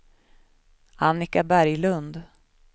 Annika Berglund